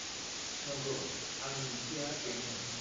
नंगौ, आंनि ओंथिया बेनोमोन।